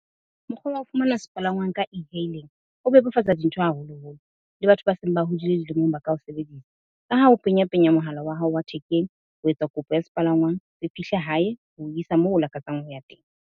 Mokgwa wa ho fumana sepalangwang ka E Hailing ho bebofatsa dintho haholo-holo le batho ba seng ba hodile dilemong ba ka o sebedisa. Ka ha o penya penya mohala wa hao wa thekeng, ho etsa kopo ya sepalangwang se fihle hae ho isa moo o lakatsang ho ya teng.